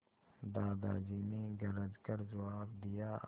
दादाजी ने गरज कर जवाब दिया